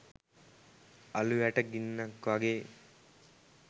අලූ යට ගින්නක් වගේ